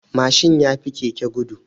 Mashin yafi keke gudu.